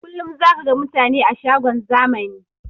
Kullum zaka ga mutane a shagon zamani